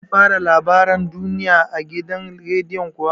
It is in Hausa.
Sun fara labaran duniya a gidan rediyon kuwa?